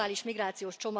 migrációs